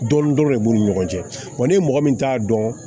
Dɔɔnin dɔrɔn de b'u ni ɲɔgɔn cɛ ni mɔgɔ min t'a dɔn